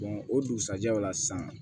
o dugusajɛ o la san